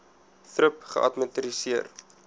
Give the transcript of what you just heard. thrip geadministreer